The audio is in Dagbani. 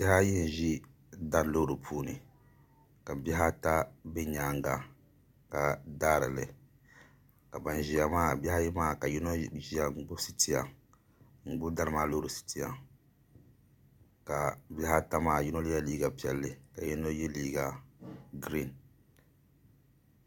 Bihi ayi n-ʒi dari loori puuni ka bihi ata be nyaaŋa ka daari li ka bihi ayi maa so ʒiya gbubi dari loori maa sitiya ka bihi ata maa yino ye liiga piɛlli ka yino ye liiga girin